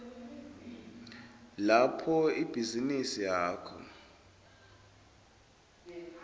lapho ibhizinisi yakho